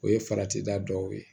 O ye farati da dɔw ye